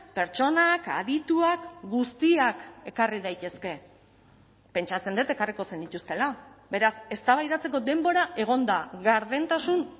pertsonak adituak guztiak ekarri daitezke pentsatzen dut ekarriko zenituztela beraz eztabaidatzeko denbora egon da gardentasun